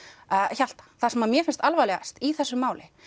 Hjalta það sem mér finnst alvarlegast í þessu máli